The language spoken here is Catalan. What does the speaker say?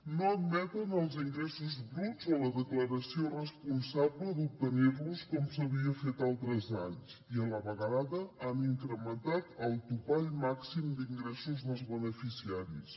no admeten els ingressos bruts o la declaració responsable d’obtenir los com s’havia fet altres anys i a la vegada han incrementat el topall màxim d’ingressos dels beneficiaris